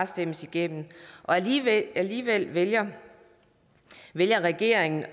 stemmes igennem alligevel alligevel vælger vælger regeringen